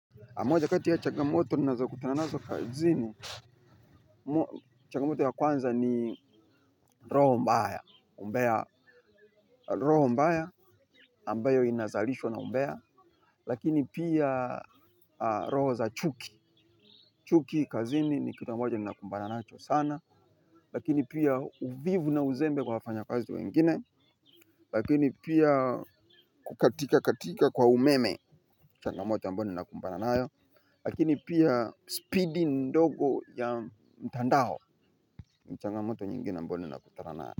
Moja kati ya chagamoto ni nazo kutananazo kazini. Chagamoto ya kwanza ni roho mbaya umbea. Roho mbaya ambayo inazalishwa na mbea. Lakini pia roho za chuki. Chuki kazini ni kitu ambacho ni nakumbana nacho sana. Lakini pia uvivu na uzembe kwa wafanya kazi wengine. Lakini pia kukatika katika kwa umeme. Chagamoto ambayo ni nakumbana lakini pia speedy ndogo ya mtandao. Ni changamoto nyingine ambayo nina kutana nayo.